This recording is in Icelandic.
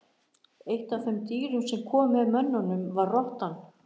Eitt af þeim dýrum sem kom með mönnunum var rottan.